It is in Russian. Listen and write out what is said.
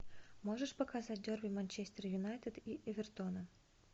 можешь показать дерби манчестер юнайтед и эвертона